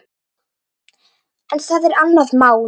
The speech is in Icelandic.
En það er annað mál.